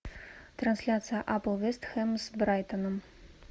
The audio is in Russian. трансляция апл вест хэм с брайтоном